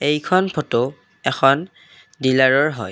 এইখন ফটো এখন ডিলাৰৰ হয়।